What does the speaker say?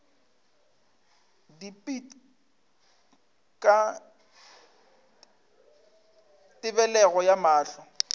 dipit ka tebelego ya mahlo